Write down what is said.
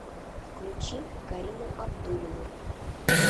включи карину абдуллину